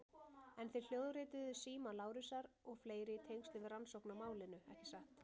En þið hljóðrituðuð síma Lárusar og fleiri í tengslum við rannsókn á málinu, ekki satt?